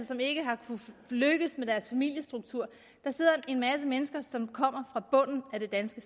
som ikke har kunnet lykkes med deres familiestruktur der sidder en masse mennesker som kommer fra bunden af det danske